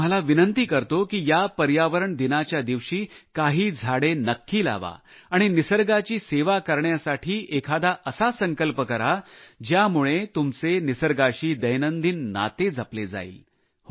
मी तुम्हाला विनंती करतो की या पर्यावरण दिनाच्या दिवशी काही झाडे नक्की लावा आणि निसर्गाची सेवा करण्यासाठी एखादा असा संकल्प करा ज्यामुळे तुमचे निसर्गाशी दैनंदिन नाते जपले जाईल